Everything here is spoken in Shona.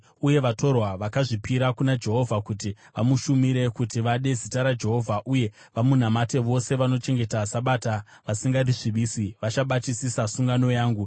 Uye vatorwa vakazvipira kuna Jehovha kuti vamushumire, kuti vade zita raJehovha, uye vamunamate, vose vanochengeta Sabata vasingarisvibisi vachibatisisa sungano yangu,